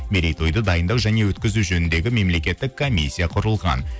мерейтойды дайындау және өткізу жөніндегі мемлекеттік комиссия құрылған